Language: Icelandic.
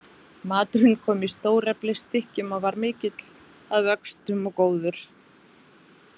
Maturinn kom í stóreflis stykkjum og var mikill að vöxtum og góður.